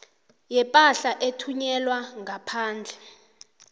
yepahla ethunyelwa ngaphandle